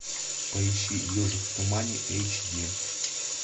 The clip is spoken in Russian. поищи ежик в тумане эйч ди